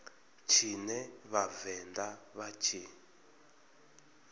tshine vha vhavenḓa vha tshi